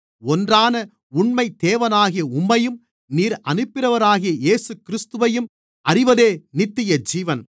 ஒன்றான உண்மை தேவனாகிய உம்மையும் நீர் அனுப்பினவராகிய இயேசுகிறிஸ்துவையும் அறிவதே நித்தியஜீவன்